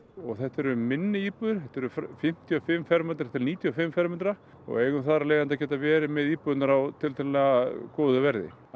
þetta eru minni íbúðir þetta eru fimmtíu og fimm fermetra til níutíu og fimm fermetra og eigum þar af leiðandi að geta verið með íbúðirnar á tiltölulega góðu verði